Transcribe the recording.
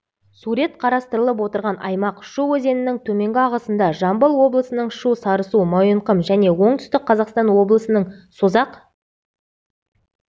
сурет қарастырылып отырған аймақ шу өзенінің төменгі ағысында жамбыл облысының шу сарысу мойынқұм және оңтүстік қазақстан облысының созақ